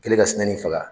Kɛlen ka suma nin faga